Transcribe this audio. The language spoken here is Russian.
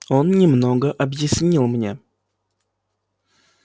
он немного объяснил мне